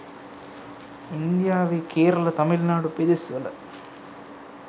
ඉන්දියාවේ කේරළ තමිල්නාඩු පෙදෙස්වල